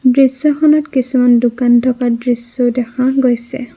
দৃশ্যখনত কিছুমান দোকান থকা দৃশ্যও দেখা গৈছে।